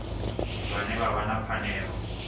vhane vha vha na pfanelo